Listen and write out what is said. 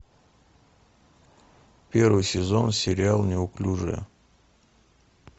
первый сезон сериал неуклюжая